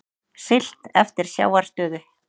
Siglt eftir sjávarstöðu